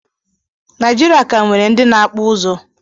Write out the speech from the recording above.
Naijirịa ka nwere ndị na-akpụ ụzụ